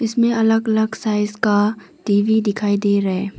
इस में अलग अलग साइज का टी_वी दिखाई दे रहे है।